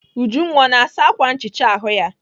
Ujunwa ọ na-asa ákwà nchicha ahụ ya?